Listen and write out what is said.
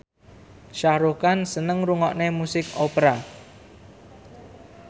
Shah Rukh Khan seneng ngrungokne musik opera